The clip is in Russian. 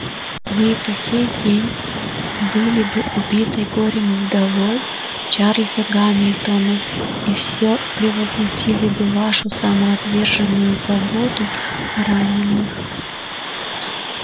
вы и по сей день были бы убитой горем вдовой чарльза гамильтона и всё превозносили бы вашу самоотверженную заботу о раненых